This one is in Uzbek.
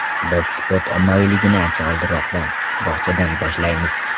Biz sport ommaviyligini ancha oldinroqdan, bog‘chadan boshlaymiz.